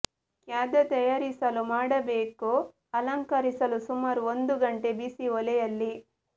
ಖಾದ್ಯ ತಯಾರಿಸಲು ಮಾಡಬೇಕು ಅಲಂಕರಿಸಲು ಸುಮಾರು ಒಂದು ಗಂಟೆ ಬಿಸಿ ಒಲೆಯಲ್ಲಿ